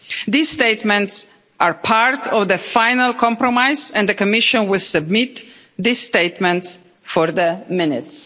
These statements are part of the final compromise and the Commission will submit these statements for the minutes.